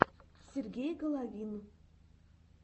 сергей головин